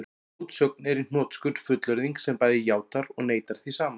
Mótsögn er í hnotskurn fullyrðing sem bæði játar og neitar því sama.